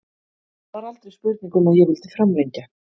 Það var aldrei spurning um að ég vildi framlengja.